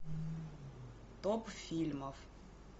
топ фильмов